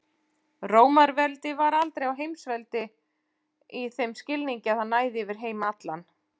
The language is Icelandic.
Rómaveldi var aldrei heimsveldi í þeim skilningi að það næði yfir heim allan.